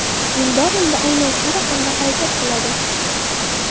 Eldor endi aynan shu raqamda harakat qiladi”.